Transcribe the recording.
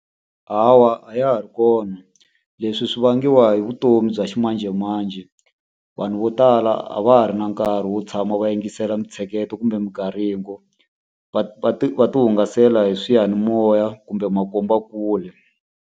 Hawa a ya ha ri kona. Leswi swi vangiwa hi vutomi bya ximanjemanje. Vanhu vo tala a va ha ri na nkarhi wo tshama va yingisela mintsheketo kumbe , va va ti va ti hungasela hi swiyanimoya kumbe makombakule.